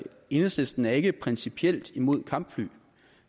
enhedslisten er ikke principielt imod kampfly